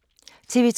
TV 2